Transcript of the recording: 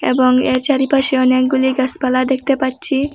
এবং এর চারিপাশে অনেকগুলি গাসপালা দেখতে পাচ্ছি।